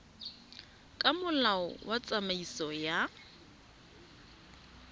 ka molao wa tsamaiso ya